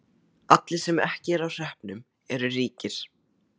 Allir sem ekki eru á hreppnum eru ríkir.